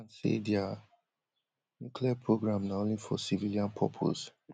iran say dia nuclear programme na only for civilian purpose